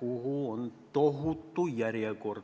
kuhu on tohutu järjekord.